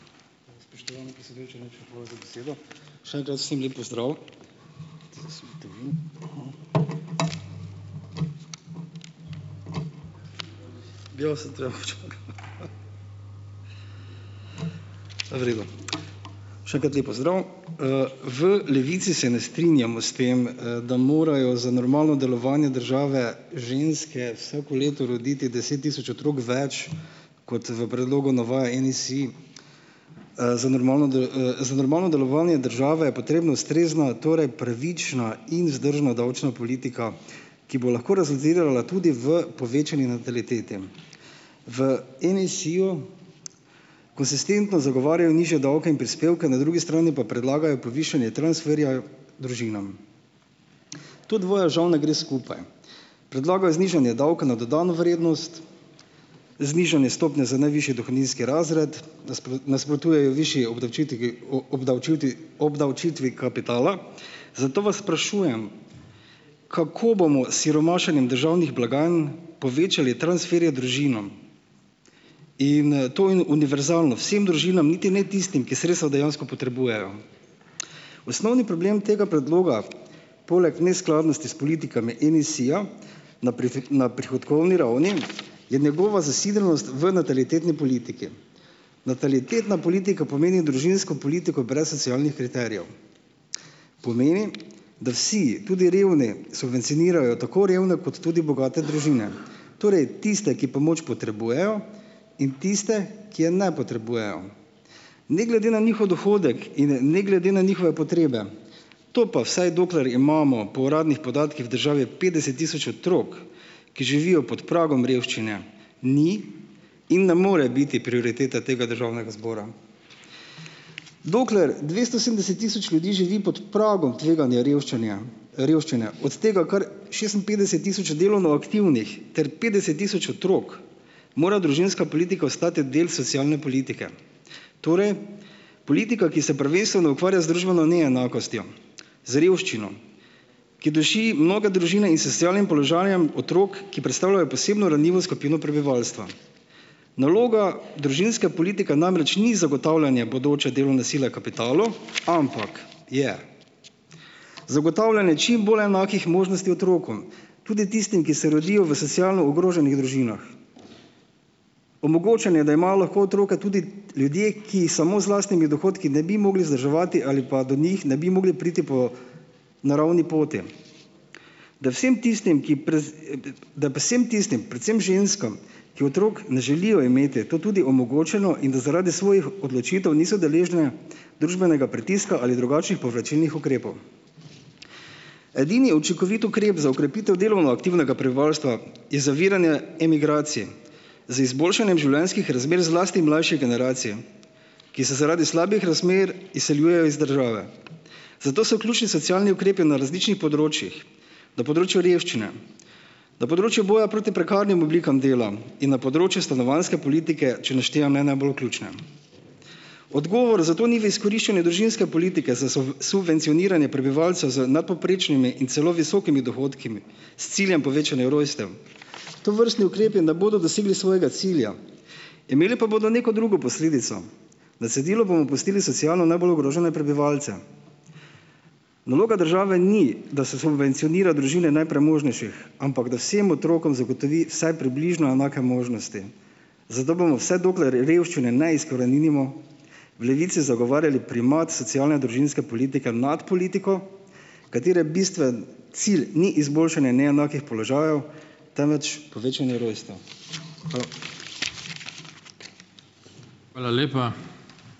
Spoštovani predsedujoči, najlepša hvala za besedo. Še enkrat vsem lep pozdrav. V redu. Še enkrat lep pozdrav. V Levici se ne strinjamo s tem, da morajo za normalno delovanje države ženske vsako leto roditi deset tisoč otrok več, kot v predlogu navaja NSi. Za normalno za normalno delovanje države je potrebno ustrezno, torej pravična in vzdržna davčna politika, ki bo lahko rezultirala tudi v povečanju natalitete. V NSi-ju konsistentno zagovarjajo nižje davke in prispevke, na drugi strani pa predlagajo povišanje transferja družinam. To dvoje žal ne gre skupaj. Predlagajo znižanje davka na dodano vrednost, znižanje stopnje za najvišji dohodninski razred, nasprotujejo višji obdavčitvi obdavčivtvi obdavčitvi kapitala, zato vas sprašujem, kako bomo s siromašenjem državnih blagajn povečali transferje družinam? In, to in univerzalno vsem družinam, niti ne tistim, ki sredstva dejansko potrebujejo. Osnovni problem tega predloga, poleg neskladnosti s politikami NSi-ja na na prihodkovni ravni je njegova zasidranost v natalitetni politiki. Natalitetna politika pomeni družinsko politiko družinsko politiko brez socialnih kriterijev. Pomeni, da vsi, tudi revni, subvencionirajo tako revne kot tudi bogate družine. Torej tiste, ki pomoč potrebujejo, in tiste, ki je ne potrebujejo. Ne glede na njihov dohodek in ne glede na njihove potrebe, to pa, vsaj dokler imamo po uradnih podatkih v državi petdeset tisoč otrok, ki živijo pod pragom revščine, ni in ne more biti prioriteta tega državnega zbora. Dokler dvesto sedemdeset tisoč ljudi živi pod pragom tveganja revščinja, revščine, od tega kar šestinpetdeset tisoč delovno aktivnih ter petdeset tisoč otrok, mora družinska politika ostati del socialne politike, torej politika, ki se prvenstveno ukvarja z družbeno neenakostjo, z revščino, ki duši mnoge družine, in s socialnim položajem otrok, ki predstavljajo posebno ranljivo skupino prebivalstva. Naloga družinske politike namreč ni zagotavljanje bodoče delovne sile kapitalu, ampak je zagotavljanje čim bolj enakih možnosti otrokom, tudi tistim, ki se rodijo v socialno ogroženih družinah, omogočanje, da imajo lahko otroke tudi ljudje, ki samo z lastnimi dohodki ne bi mogli vzdrževati ali pa do njih ne bi mogli priti po naravni poti. Da vsem tistim, ki da predvsem tistim predvsem ženskam, ki otrok ne želijo imeti, je to tudi omogočeno, in da zaradi svojih odločitev niso deležne družbenega pritiska ali drugačnih povračilnih ukrepov. Edini učinkoviti ukrep za okrepitev delovno aktivnega prebivalstva je zaviranje emigracij z izboljšanjem življenjskih razmer zlasti mlajše generacije, ki se zaradi slabih razmer izseljuje iz države. Zato so ključni socialni ukrepi na različnih področjih, na področju revščine, na področju boja proti prekarnim oblikam dela in na področju stanovanjske politike, če naštejem ne najbolj ključne. Odgovor za to ni v izkoriščanju družinske politike, za subvencioniranje prebivalca z nadpovprečnimi in celo visokimi dohodki s ciljem povečanja rojstev. Tovrstni ukrepi ne bodo dosegli svojega cilja, imeli pa bodo neko drugo posledico, na cedilu bomo pustili socialno najbolj ogrožene prebivalce. Naloga države ni, da se subvencionira družine najpremožnejših, ampak da vsem otrokom zagotovi vsaj približno enake možnosti, zato bomo, vse dokler je revščine ne izkoreninimo, v Levici zagovarjali primat socialne družinske politike nad politiko, katere bistveni cilj ni izboljšanje neenakih položajev, temveč povečanje rojstev. Hvala.